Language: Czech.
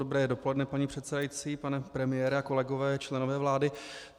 Dobré dopoledne, paní předsedající, pane premiére, kolegové a členové vlády.